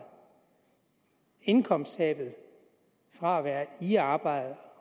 indkomsttabet fra at være i arbejde